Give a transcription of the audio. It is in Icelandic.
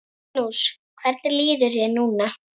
Magnús: Hvernig líður þér núna?